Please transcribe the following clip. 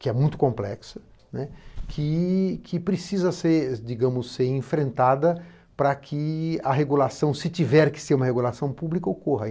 que é muito complexa, que, que precisa ser, digamos, ser enfrentada para que a regulação, se tiver que ser uma regulação pública, ocorra.